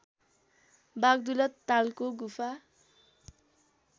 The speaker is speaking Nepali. वाग्दुला तालको गुफा